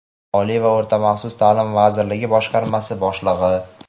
Oliy va o‘rta maxsus ta’lim vazirligi boshqarma boshlig‘i;.